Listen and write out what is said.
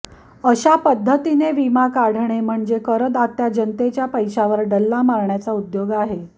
अशा पध्दतीने विमा काढणे म्हणजे करदात्या जनतेच्या पैशावर डल्ला मारण्याचा उद्योग आहे